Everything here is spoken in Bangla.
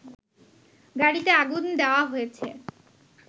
গাড়িতে আগুন দেওয়া হয়েছে